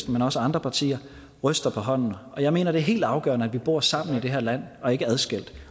men også andre partier ryster på hånden og jeg mener det er helt afgørende at vi bor sammen i det her land og ikke adskilt